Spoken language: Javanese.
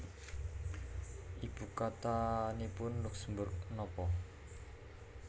Ibu kotanipun Luksemburg nopo